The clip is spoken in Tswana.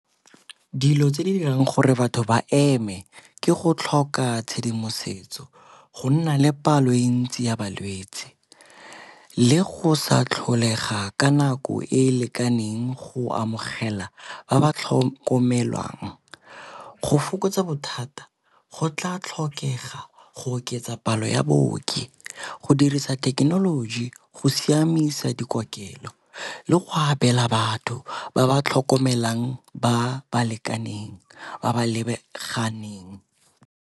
Dilo tse di dirang gore batho ba eme ke go tlhoka tshedimosetso, go nna le palo e ntsi ya balwetse le go sa tlholega ka nako e lekaneng go amogela ba ba tlhokomelwang. Go fokotsa bothata go tla tlhokega go oketsa palo ya baoki go dirisa thekenoloji, go siamisa dikokelelo le go abela batho ba ba tlhokomelang ba ba lekaneng ba ba lebaganeng.